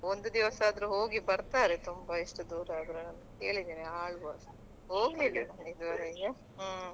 ಒಂದು ದಿವಸ ಆದರು ಹೋಗಿ ಬರ್ತಾರೆ ತುಂಬಾ ಎಷ್ಟು ದೂರಾದ್ರುನು ಕೇಳಿದ್ದೇನೆ Alva's ಗೆ ಹೋಗ್ಲಿಲ್ಲ ಇದುವರೆಗೆ ಹ್ಮ್.